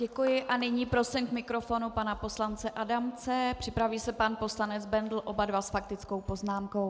Děkuji a nyní prosím k mikrofonu pana poslance Adamce, připraví se pan poslanec Bendl, oba dva s faktickou poznámkou.